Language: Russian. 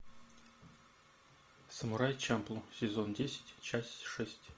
самурай чамплу сезон десять часть шесть